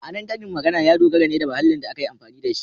Ma’anar karin magana ya dogara ne da mahallin da aka yi amfani da shi.